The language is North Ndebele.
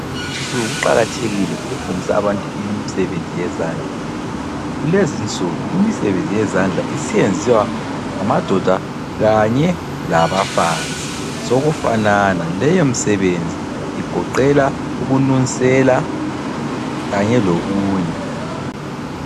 Sokuqakathekile ukufundisa abantu imisebenzi yezandla. Kulezinsuku imisebenzi yezandla isiyenziwa ngamadoda kanye labafazi, sokufanana. Leyo misebenzi igoqela ukunusela kanye lokunye.